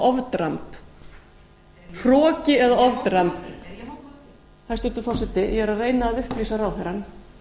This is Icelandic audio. það þýðir hroki eða ofdramb hæstvirtur forseti ég er að reyna að upplýsa ráðherrann